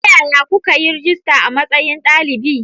Ta yaya kuka yi rajista a matsayin dalibi?